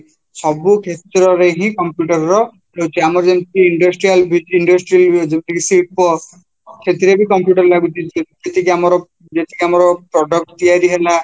ସବୁ କ୍ଷେତ୍ରରେ ହିଁ computer ରହୁଛି ଆମର ଯେମିତି industrial industrial ଯୋଉଟାକି ଶିଳ୍ପ ସେଥିରେ ବି computer ଲାଗୁଛି ଯେତିକି ଯେତିକି ଆମର product ତିଆରି ହେଲା